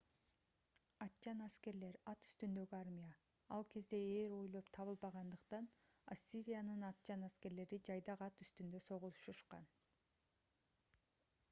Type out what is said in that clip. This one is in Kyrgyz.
атчан аскерлер ат үстүндөгү армия ал кезде ээр ойлоп табылбагандыктан ассириянын атчан аскерлери жайдак ат үстүндө согушушкан